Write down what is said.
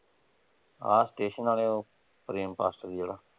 ਆ ਸਟੇਸ਼ਨ ਆਲੇ ਓਹ ਪ੍ਰੇਮ ਪਾਸਟਰ ਜਿਹੜਾ।